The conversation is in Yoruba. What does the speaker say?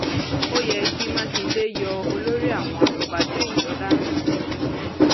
ó yẹ kí mákindé yọ olórí àwọn afọbàjẹ ọyọ dànù